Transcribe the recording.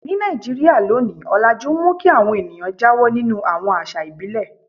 Ní Nàìjíríà lónìí, ọlajú ń mú kí àwọn ènìyàn jáwọ́ nínú àwọn àṣà ìbílẹ̀.